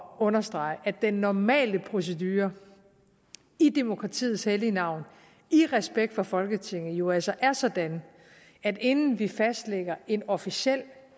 understrege at den normale procedure i demokratiets hellige navn i respekt for folketinget jo altså er sådan at inden vi fastlægger en officiel